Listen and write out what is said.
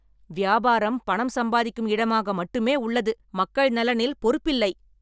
வியாபாரம் பணம் சம்பாதிக்கும் இடமாக மட்டுமே உள்ளது. மக்கள் நலனில் பொறுப்பில்லை.